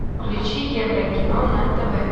включи еврокино на тв